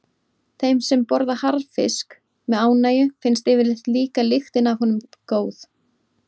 Þeim sem borða harðfisk með ánægju finnst yfirleitt líka lyktin af honum góð.